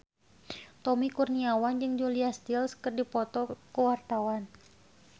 Tommy Kurniawan jeung Julia Stiles keur dipoto ku wartawan